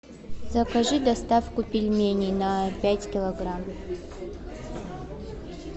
закажи доставку пельменей на пять килограмм